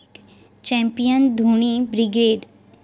Champion Dhoni brigade!